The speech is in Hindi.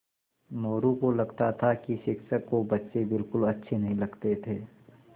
मोरू को लगता था कि शिक्षक को बच्चे बिलकुल अच्छे नहीं लगते थे